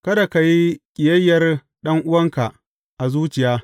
Kada ka yi ƙiyayyar ɗan’uwanka a zuciya.